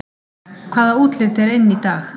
Hvaða útlit er inn í dag